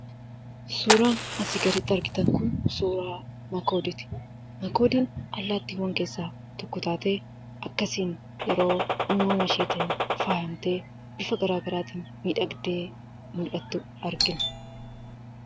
Suuraan asii gaditti argitan kun, suuraa makoodiiti. makoodiin allaattiiwwan keessa tokko taatee, akkasiin yeroo uumama isheetiin faayyamtee, bifa garaagaraatin miidhagde mul'atu argina.